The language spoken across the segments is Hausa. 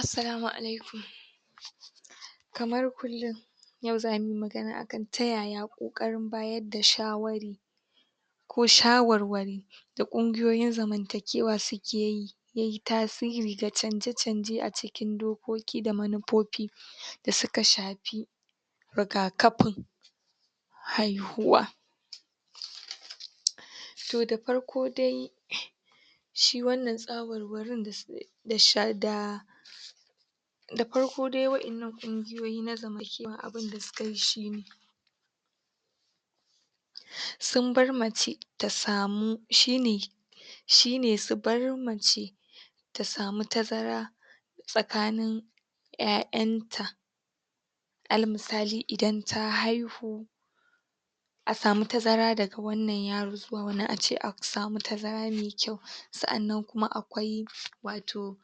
Assalamu alaikum kamar kullum yau zamu yi magana akan ta yaya ƙoƙorin bayar da shawari ko shawarwari da ƙungiyoyin zamantakewa suke yi ya yi tasiri ga canje-canje a cikin dokoki da manufofi da suka shafi rigakafin haihuwa To da farko dai shi wannan shawarwarin? da farko dai wa’innan ƙungoyoyi na zamantakewa abin da suka yi shi ne sun bar mace ta samu shi ne shi ne su bar mace ta samu tazara tsakanin ƴaƴanta alal misali idan ta haihu a samu tazara daga wannan yaro zuwa wannan, a ce a samu tazara mai kyau Sa’annan kuma akwai wato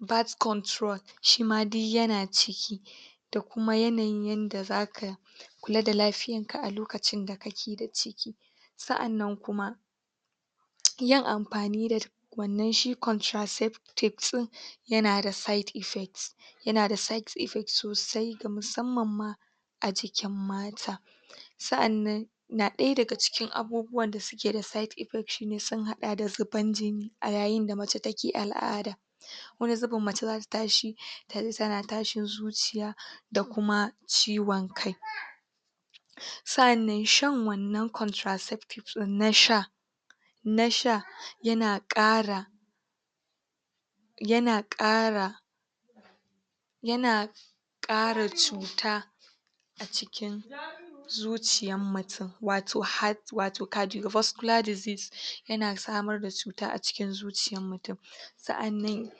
birth control shima duk yana ciki da kuma yanayin yadda zaka kula da lafiyanka a lokacin da ka ke da ciki sa’annan kuma yin amfani da wannan shi contraceptives ɗin yana side effects yana da side effects sosai ga musamman ma a jikin mata sa’annan na ɗaya daga cikin abubuwan da suke da side effect shi ne sun haɗa da zuban jini a yayin da mace take al’ada wani zubin mace zata tashi ta ji tana tashin zuciya da kuma ciwon kai sa’annan shan wannan contraceptives ɗin na sha na sha yana ƙara yana ƙara yana ƙara cuta a cikin zuciyan mutum wato heart wato cardio voscular disease yana samar da cuta a cikin zuciyar mutum sa'annan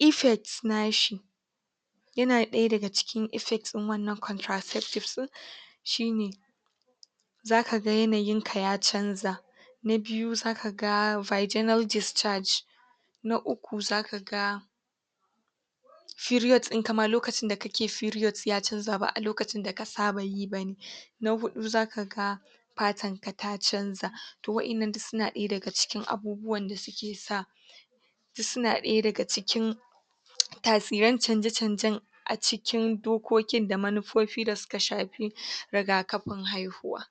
effects nashi yana ɗaya daga cikin effect ɗin wannan contraceptives ɗin shi ne zaka ga yanayin ka ya canza na biyu zaka ga vaginal discharge na uku zaka ga period ɗinka ma lokacin da ka ke period ya canza ba a lokacin da ka saba yi ba ne na huɗu zaka ga fatanka ta canza to wa'innan duk suna ɗaya ga cikin abubuwan da suke sa duk suna ɗaya daga cikin tasiran canje-canjen a cikin dokokin da munufofi da suka shafi rigakafin haihuwa